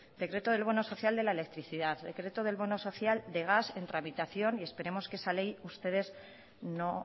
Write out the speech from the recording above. decreto del bono social de la electricidad decreto del bono social de gas en tramitación y esperemos que la ley ustedes no